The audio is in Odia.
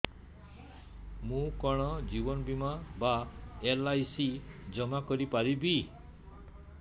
ମୁ କଣ ଜୀବନ ବୀମା ବା ଏଲ୍.ଆଇ.ସି ଜମା କରି ପାରିବି